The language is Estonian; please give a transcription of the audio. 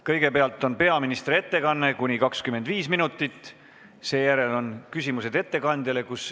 Kõigepealt on peaministri ettekanne kuni 25 minutit, seejärel on küsimused ettekandjale.